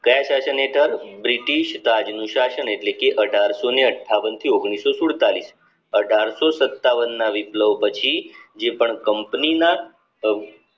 કાયા શાસન હેઠળ બ્રિટિશ રાજ નું શાસન એટલે કે અઢારસો ને અઠ્ઠાવન થી ઓગણીસો સુડતાલીસ અઢારસો સતાવન ના વીપલવ પછી જે પણ company ના